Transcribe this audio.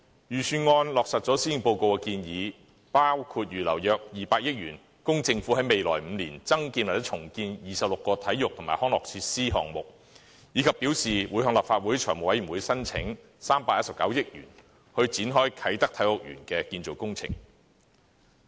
預算案落實了施政報告的建議，包括預留約200億元，供政府在未來5年增建或重建26個體育及康樂設施項目，以及表示會向立法會財務委員會申請319億元，以展開啟德體育園的建造工程。